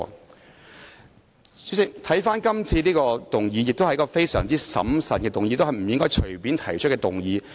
代理主席，今次這項議案亦是一項須經審慎考慮且不應隨便提出的議案。